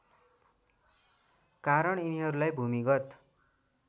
कारण यिनीहरूलाई भूमिगत